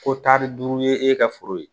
Ko tari duuru ye e ka foro ye